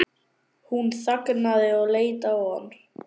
Hún þagnaði og leit á hann.